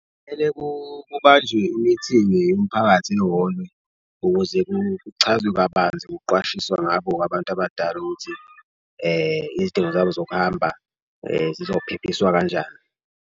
Kumele kubanjwe i-meeting yomphakathi eholwe ukuze kuchazwe kabanzi ngokuqwashiswa ngabo-ke abantu abadala ukuthi izidingo zabo zokuhamba zizophephiswa kanjani.